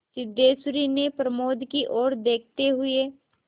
सिद्धेश्वरी ने प्रमोद की ओर देखते हुए